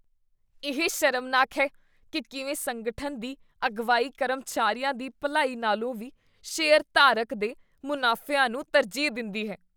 ਇਹ ਸ਼ਰਮਨਾਕ ਹੈ ਕੀ ਕਿਵੇਂ ਸੰਗਠਨ ਦੀ ਅਗਵਾਈ ਕਰਮਚਾਰੀਆਂ ਦੀ ਭਲਾਈ ਨਾਲੋਂ ਵੀ ਸ਼ੇਅਰਧਾਰਕ ਦੇ ਮੁਨਾਫਿਆਂ ਨੂੰ ਤਰਜੀਹ ਦਿੰਦੀ ਹੈ।